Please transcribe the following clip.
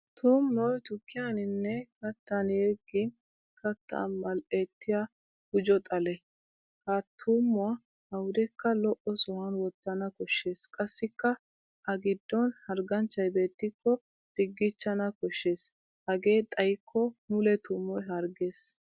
Tuummoy tukkiyaninne kattan yeggin kattaa mal'ettiya gujo xale. Ha tuummuwa awudekka lo'o sohuwan wottana koshshes qassikka a giddon hargganchchay beettikko diggiichchana kossshes hegee xayikko mule tuummoy harggees.